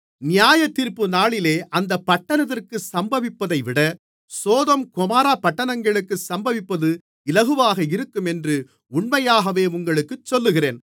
நியாயத்தீர்ப்புநாளிலே அந்தப் பட்டணத்திற்கு சம்பவிப்பதைவிட சோதோம் கொமோரா பட்டணங்களுக்கு சம்பவிப்பது இலகுவாக இருக்கும் என்று உண்மையாகவே உங்களுக்குச் சொல்லுகிறேன்